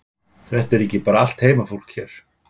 Þetta er ekki bara allt heimafólk hér?